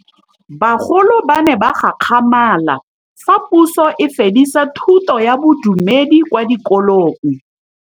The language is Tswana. Bagolo ba ne ba gakgamala fa Pusô e fedisa thutô ya Bodumedi kwa dikolong.